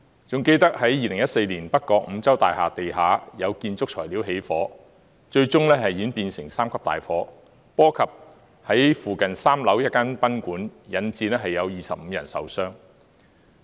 還記得2014年北角五洲大廈地下有建築材料起火，最終演變成3級大火，波及附近3樓一間賓館，引致25人受傷。